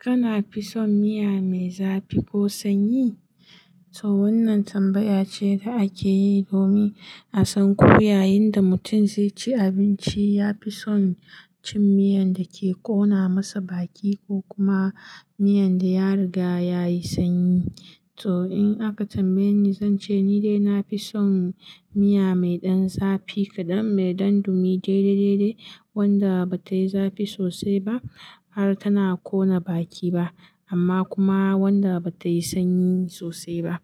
Kana fison miya mai zafi ko sanyi? To wannan tambaya ce da ake yi domin a san ko yayin da mutum zai ci abinci, ya fi son cin miyan da ke ƙona masa baki ko kuma miyan da ya riga yayi sanyi. Toh in aka tambaye ni, zance ni dai na fi son miya mai ɗan zafi kaɗan, mai ɗan dumi daidai-daidai wadda ba tayi zafi sosai ba har tana ƙona baki ba amma kuma wadda ba tayi sanyi sosai ba.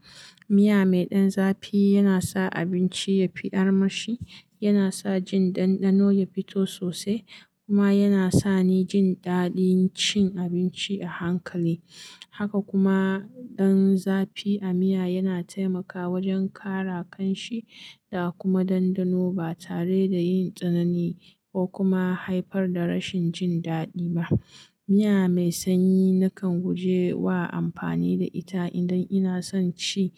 Miya mai ɗan zafi yana sa abinci yafi armashi, yana sa jin ɗanɗano yafito sosai kuma yana sani jin daɗin cin abinci a hankali. Haka kuma ɗan zafi a miya yana taimakawa wajen ƙara ƙanshi da kuma ɗanɗano ba tare da yin tsanani ko kuma haifar da rashin jin daɗi ba. Miya mai sanyi nakan guje wa amfani da ita idan ina son ci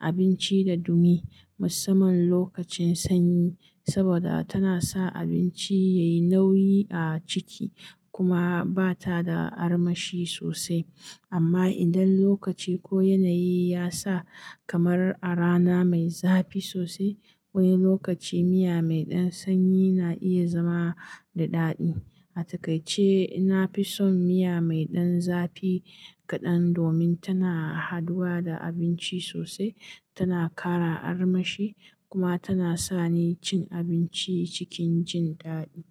abinci da dumi, musamman lokacin sanyi, saboda tana sa abinci yayi nauyi a ciki kuma bata da armashi sosai. Amma idan lokaci ko yanayi ya sa, kamar a rana mai zafi sosai wani lokaci miya mai ɗan sanyi na iya zama da daɗi. A takaice, na fi son miya mai ɗan zafi kaɗan domin tana haduwa da abinci sosai, tana ƙara armashi kuma tana sani cin abinci cikin jin daɗi.